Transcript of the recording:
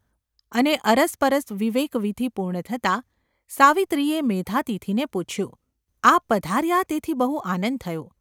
અને અરસપરસ વિવેકવિધિ પૂર્ણ થતાં સાવિત્રીએ મેધાતિથિને પૂછ્યું : ‘આપ પધાર્યા તેથી બહુ આનંદ થયો.